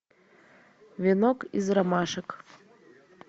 венок из ромашек